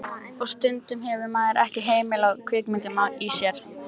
Og stundum hefur maður ekki hemil á kvikindinu í sér.